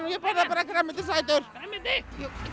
ég borða bara grænmetisætur grænmeti